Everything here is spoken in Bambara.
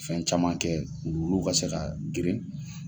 Fɛn caman kɛ wuluwuluw ka se ka geren.